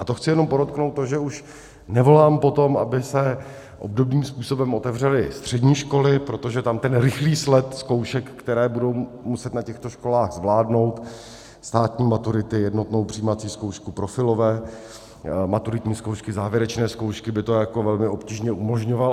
A to chci jenom podotknout to, že už nevolám po tom, aby se obdobným způsobem otevřely střední školy, protože tam ten rychlý sled zkoušek, které budou muset na těchto školách zvládnout, státní maturity, jednotnou přijímací zkoušku, profilové maturitní zkoušky, závěrečné zkoušky, by to velmi obtížně umožňoval.